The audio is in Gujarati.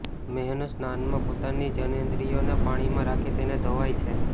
મેહન સ્નાનમાં પોતાની જનનેન્દ્રિયોને પાણીમાં રાખી તેને ધોવાય છે